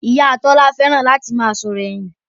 Ìyá Tọ́lá fẹ́ràn láti máa sọ̀rọ̀ ẹ̀yìn